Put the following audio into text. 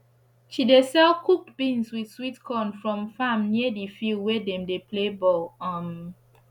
she dey sell cooked beans with sweet corn from farm near d field wey dem dey play ball um